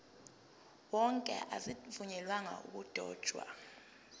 wonke azivunyelwanga ukudotshwa